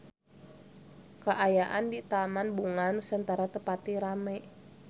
Kaayaan di Taman Bunga Nusantara teu pati rame